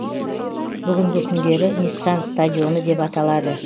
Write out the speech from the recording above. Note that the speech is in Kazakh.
бүгінгі күндері ниссан стадионы деп аталады